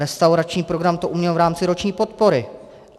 Restaurační program to uměl v rámci roční podpory.